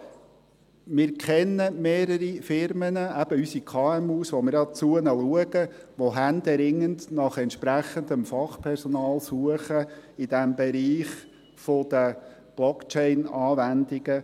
Also: Wir kennen mehrere Firmen, eben unsere KMUs, zu denen wir schauen, die händeringend nach entsprechendem Fachpersonal suchen in diesem Bereich der Blockchain-Anwendungen.